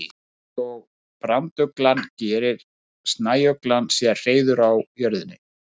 Líkt og branduglan gerir snæuglan sér hreiður á jörðinni.